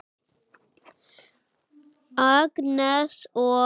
Agnes og